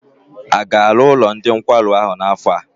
A ga-arụ ụlọ ndị nkwarụ ahụ n'afọ a?